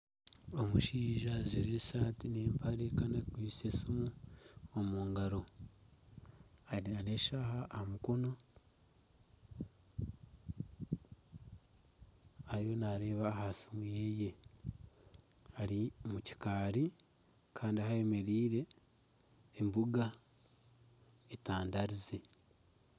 Omushaija ajwaire esaati n'empare kandi akwaitse esiimu omu ngaro eine na n'eshaaha aha mukono ariyo nareeba aha siimu yeeye ari omu kikaari kandi ahu ayemereire embuga etandarize.